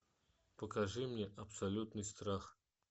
покажи мне абсолютный страх